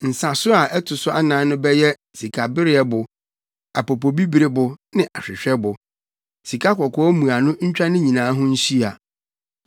Nsaso a ɛto so anan no bɛyɛ sikabereɛbo, apopobibiribo ne ahwehwɛbo. Sikakɔkɔɔ mmuano ntwa ne nyinaa ho nhyia.